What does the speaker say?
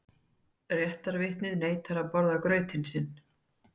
Réttarvitnið neitar að borða grautinn sinn.